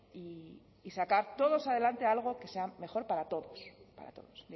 y sacar todos adelante algo que sea mejor para todos para todos